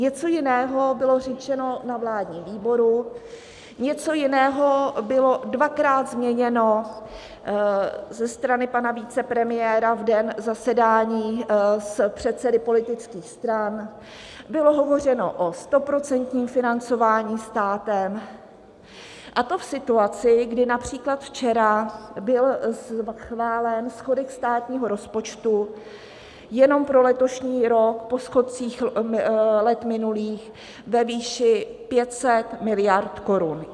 Něco jiného bylo řečeno na vládním výboru, něco jiného bylo dvakrát změněno ze strany pana vicepremiéra v den zasedání s předsedy politických stran, bylo hovořeno o stoprocentním financování státem, a to v situaci, kdy například včera byl schválen schodek státního rozpočtu jenom pro letošní rok po schodcích let minulých ve výši 500 miliard korun.